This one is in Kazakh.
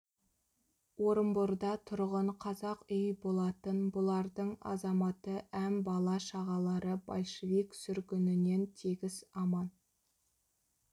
орынборда тұрғын қазақ үй болатын бұлардың азаматы әм бала-шағалары большевик сүргінінен тегіс аман